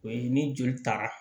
O ye ni joli taara